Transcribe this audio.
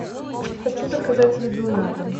хочу заказать еду на дом